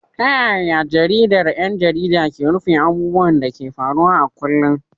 Ta yaya jaridar 'yan jarida ke rufe abubuwan da ke faruwa a kullum?